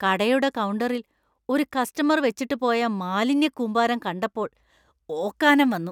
കടയുടെ കൗണ്ടറിൽ ഒരു കസ്റ്റമർ വെച്ചിട്ട് പോയ മാലിന്യക്കൂമ്പാരം കണ്ടപ്പോൾ ഓക്കാനം വന്നു.